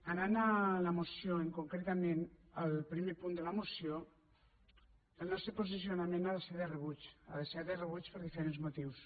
anant a la moció i concretament al primer punt de la moció el nostre posicionament ha de ser de rebuig ha de ser de rebuig per diferents motius